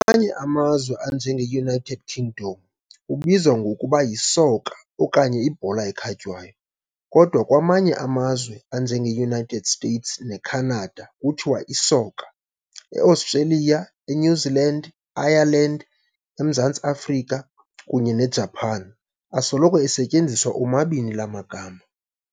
Kwamanye amazwe, anje ngeUnited Kingdom, ubizwa ngokuba yisoka okanye ibhola ekhatywayo, kodwa kwamanye amazwe, anje ngeUnited States neCanada, kuthiwa isoka. EAustralia, eNew Zealand, Ireland, eMzantsi Afrika, kunye neJapan, asoloko esetyenziswa omabini laa magama.